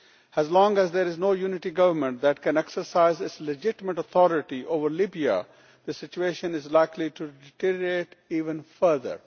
As long as there is no unity government that can exercise its legitimate authority over Libya, the situation is likely to deteriorate even further.